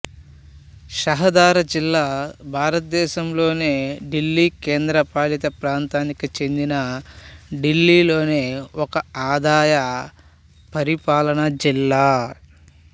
షహదారా జిల్లా భారతదేశంలోని ఢిల్లీ కేంద్రపాలిత ప్రాంతానికి చెందిన ఢిల్లీలోని ఒక ఆదాయ పరిపాలనా జిల్లా